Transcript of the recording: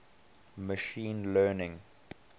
machine learning